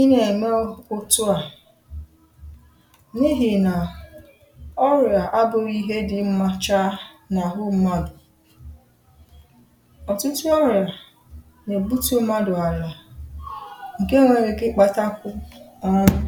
ị nà ẹmẹ otuà, n’ihì nà ọrị̀à abụghị ihe dị mmā cha n’àhụ mmadù. òtụtụ ọrị̀à nà èbutu mmadù àlà, ǹke nwere ike ị kpātakwu ọnwụ